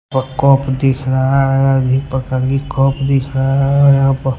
पर कप दिख रहा है देख रहा है यहां पर--